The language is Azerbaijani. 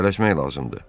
Tələsmək lazımdır.